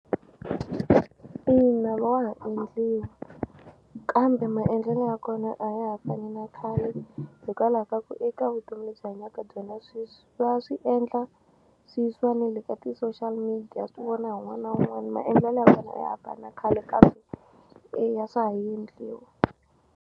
Ina wa ha endliwa kambe maendlelo ya kona a ya ha fani na khale hikwalaho ka ku eka vutomi lebyi hi hanyaka byona sweswi va swi endla swi yisiwa ne le ka ti-social media swi vona hi wun'wani na wun'wani maendlelo ya kona a ya ha fani khale kambe eya swa ha yendliwa.